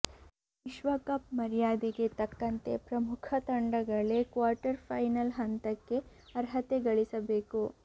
ವಿಶ್ವ ಕಪ್ ಮರ್ಯಾದೆಗೆ ತಕ್ಕಂತೆ ಪ್ರಮುಖ ತಂಡಗಳೇ ಕ್ವಾರ್ಟರ್ಫೈನಲ್ ಹಂತಕ್ಕೆ ಅರ್ಹತೆ ಗಳಿಸಬೇಕು